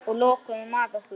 Og lokuðum að okkur.